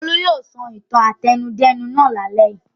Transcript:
Olú yóò sọ ìtàn àtẹnudẹ́nu náà lálẹ́ yìí!